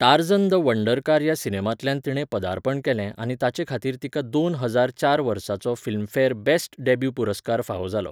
Tarzan the wonder car ह्या सिनेमांतल्यान तिणें पदार्पण केलें आनी ताचे खातीर तिका दोन हजार चार वर्साचो फिल्मफॅर बेस्ट डॅब्यू पुरस्कार फावो जालो.